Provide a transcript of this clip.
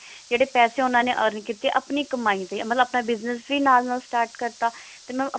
ਜਿਹੜੇ ਪੈਸੇ ਉਹਨਾਂ ਨੇ earn ਕੀਤੇ ਆਪਣੀ ਕਮਾਈ ਤੇ ਮਤਲਬ ਆਪਣਾ business ਵੀ ਨਾਲ ਨਾਲ start ਕਰਤਾ